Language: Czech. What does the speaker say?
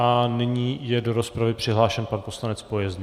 A nyní je do rozpravy přihlášen pan poslanec Pojezný.